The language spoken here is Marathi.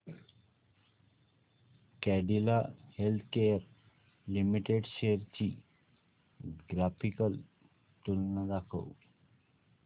कॅडीला हेल्थकेयर लिमिटेड शेअर्स ची ग्राफिकल तुलना दाखव